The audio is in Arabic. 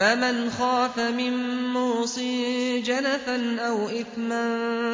فَمَنْ خَافَ مِن مُّوصٍ جَنَفًا أَوْ إِثْمًا